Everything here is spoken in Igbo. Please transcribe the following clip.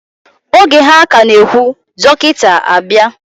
Oge ha ka na ehwu, dokita abia.